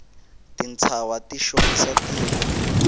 tintshava ti xongisa tiko